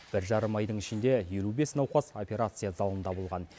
бір жарым айдың ішінде елу бес науқас операция залында болған